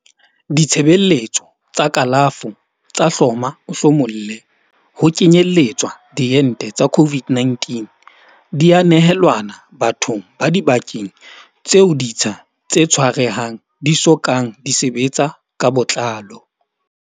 Ditshebeletso tsa kalafo tsa hloma-o-hlomolle, ho kenyeletswa diente tsa COVID-19, di a nehelanwa bathong ba dibakeng tseo ditsha tse tshwarehang di so kang di sebetsa ka botlalo.